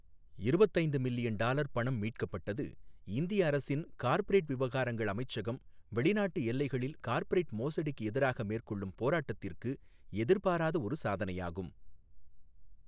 இருபத்து ஐந்து million dollar பணம் மீட்கப்பட்டது, இந்திய அரசின் கார்ப்பரேட் விவகாரங்கள் அமைச்சகம் வெளிநாட்டு எல்லைகளில் கார்ப்பரேட் மோசடிக்கு எதிராக மேற்கொள்ளும் போராட்டத்திற்கு எதிர்பாராத ஒரு சாதனையாகும்.